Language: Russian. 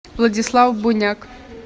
владислав буняк